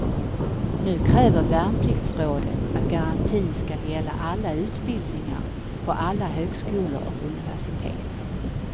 Nu kräver värnpliktsrådet att garantin skall gälla alla utbildningar på alla högskolor och universitet.